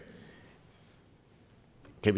der